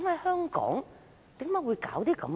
香港為何會有故宮？